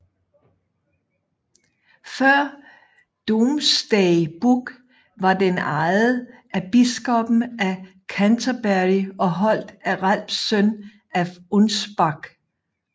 Før Domesday Book var den ejet af biskoppen af Canterbury og holdt af Ralphs søn af Unspac